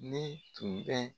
Ne tun bɛ